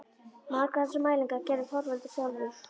Margar þessara mælinga gerði Þorvaldur sjálfur.